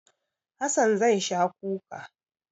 Hassan zai sha kuka.